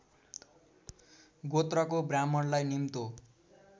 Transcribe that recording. गोत्रको ब्राह्मणलाई निम्तो